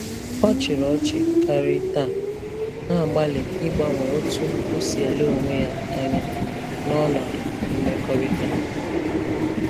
Ọ chịrị ọchị karị taa, na-agbalị ịgbanwe otú o si ele onwe ya anya na ọnọdụ mmekọrịta.